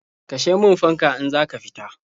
Kashe min fanka in za ka fita.